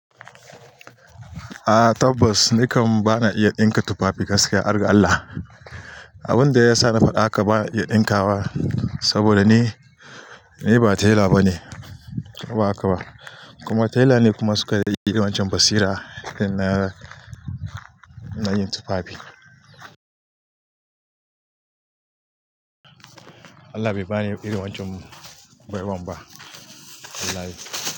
A tabbas, ni kam bana iya ɗinka tufafi gaskiya, harga Allah. Abun da ya sa na faɗa haka ba iya ɗinkawa saboda ni, ni ba tela ba ne, ko ba haka ba. Kuma tela ne kuma suke da irin waccan basira na, na yin tufafi. Allah bai bani irin waccan baiwar ba. Wallahi.